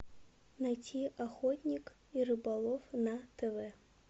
найти охотник и рыболов на тв